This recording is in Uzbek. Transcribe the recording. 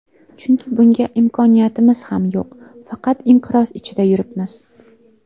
Chunki bunga imkoniyatimiz ham yo‘q, faqat inqiroz ichida yuribmiz.